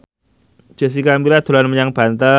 Jessica Milla dolan menyang Banten